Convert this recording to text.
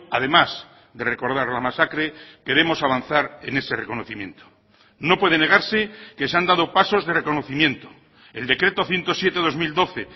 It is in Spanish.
además de recordar la masacre queremos avanzar en ese reconocimiento no puede negarse que se han dado pasos de reconocimiento el decreto ciento siete barra dos mil doce